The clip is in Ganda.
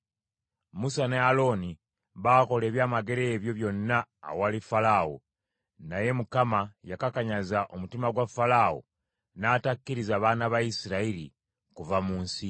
Musa ne Alooni baakolera ebyamagero ebyo byonna awali Falaawo; naye Mukama yakakanyaza omutima gwa Falaawo, n’atakkiriza baana ba Isirayiri kuva mu nsi ye.